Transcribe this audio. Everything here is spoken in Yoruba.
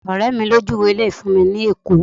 ọrẹ mi lo juwe ile yìí fún mi ni ẹkọ